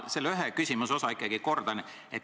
Ma selle küsimuse üht osa ikkagi kordan.